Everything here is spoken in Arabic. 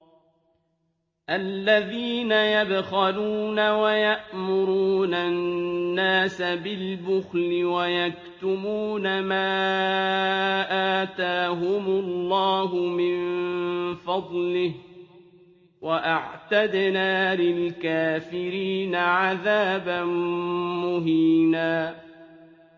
الَّذِينَ يَبْخَلُونَ وَيَأْمُرُونَ النَّاسَ بِالْبُخْلِ وَيَكْتُمُونَ مَا آتَاهُمُ اللَّهُ مِن فَضْلِهِ ۗ وَأَعْتَدْنَا لِلْكَافِرِينَ عَذَابًا مُّهِينًا